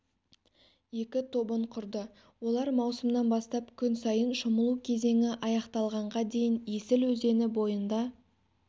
екі тобын құрды олар маусымнан бастап күн сайын шомылу кезеңі аяқталғанға дейін есіл өзені бойында